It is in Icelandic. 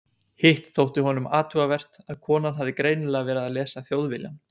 Hitt þótti honum athugavert að konan hafði greinilega verið að lesa Þjóðviljann.